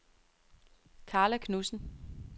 Karla Knudsen